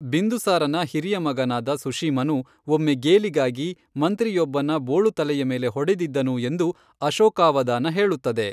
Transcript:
ಬಿಂದುಸಾರನ ಹಿರಿಯ ಮಗನಾದ ಸುಶೀಮನು ಒಮ್ಮೆ ಗೇಲಿಗಾಗಿ ಮಂತ್ರಿಯೊಬ್ಬನ ಬೋಳು ತಲೆಯ ಮೇಲೆ ಹೊಡೆದಿದ್ದನು ಎಂದು ಅಶೋಕಾವದಾನ ಹೇಳುತ್ತದೆ.